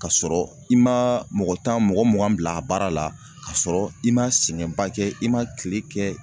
Kasɔrɔ i maa mɔgɔ tan mɔgɔ mugan bil'a baara la kasɔrɔ i ma sɛgɛnba kɛ i ma kile kɛ